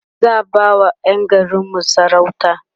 za'a ba wa Yan garinmu sarauta